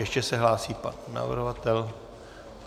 Ještě se hlásí pan navrhovatel.